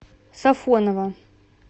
сафоново